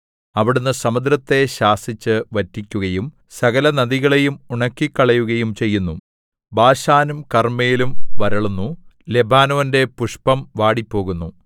അവിടുന്ന് സമുദ്രത്തെ ശാസിച്ച് വറ്റിക്കുകയും സകലനദികളെയും ഉണക്കിക്കളയുകയും ചെയ്യുന്നു ബാശാനും കർമ്മേലും വരളുന്നു ലെബാനോന്റെ പുഷ്പം വാടിപ്പോകുന്നു